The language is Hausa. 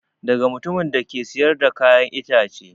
Daga mutumin da ke siyar da kayan ita ce